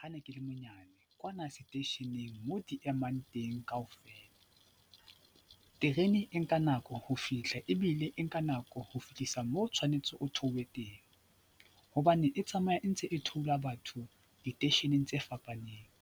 Ha ne ke le monyane, kwana seteisheneng mo di emang teng kaofela. Terene e nka nako ho fihla ebile e nka nako ho fihlisa moo o tshwanetse o theohe teng hobane e tsamaya e ntse e theola batho diteisheneng tse fapaneng.